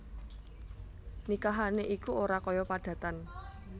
Nikahané iku ora kaya padatan